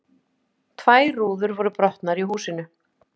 Tvær rúður voru brotnar í húsinu